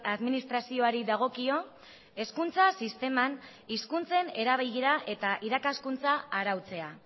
administrazioari dagokio hezkuntza sisteman hizkuntzen erabilera eta irakaskuntza arautzea